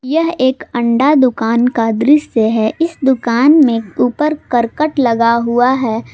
यह एक अंडा दुकान का दृश्य है इस दुकान मे ऊपर करकट लगा हुआ है।